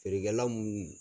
Feerekɛ la mun